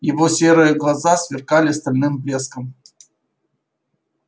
его серые глаза сверкали стальным блеском